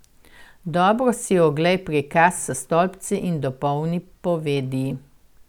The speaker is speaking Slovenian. Dobro si oglej prikaz s stolpci in dopolni povedi.